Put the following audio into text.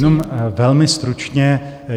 Jenom velmi stručně.